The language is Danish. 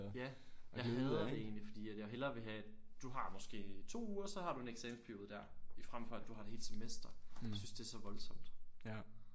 Ja og jeg hader det egentlig fordi at jeg hellere vil have du har måske 2 uger så har du en eksamensperiode der i frem for du har et helt semester jeg synes det er så voldsomt